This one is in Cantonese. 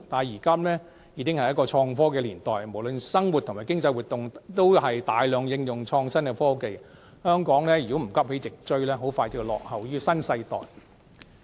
現今已是創科年代，不論生活或經濟活動也大量應用創新科技，香港如果不急起直追，很快便會落後於新世代。